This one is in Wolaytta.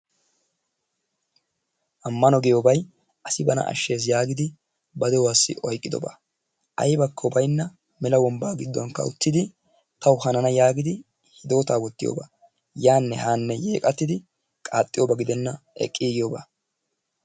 Ammano giyobayi asi bana ashshes yaagidi ba de'uwassi oyqqidobaa. Aybakko baynna mela wombbaa giddonkka uttidi tawu hanana yaagidi hidootaa wottiyogaa. Yaanne haanne yeqattidi qaaxxiyoba gidenna eqqiigiyogaa.